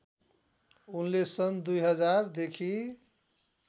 उनले सन् २००० देखि